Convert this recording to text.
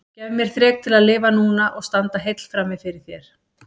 Gef mér þrek til að lifa núna og standa heill frammi fyrir þér.